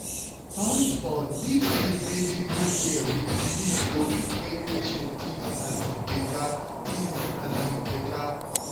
hold on mixin' medical care wit belief go fit make patient tinz um beta. tinz um beta.